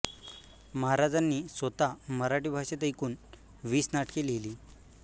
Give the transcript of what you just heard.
महाराजांनी स्वतः मराठी भाषेत एकुण वीस नाटके लिहिली